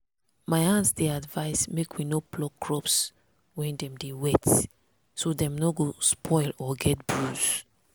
my aunt dey advise make we no pluck crops when dem dey wet so dem no go spoil or get bruise.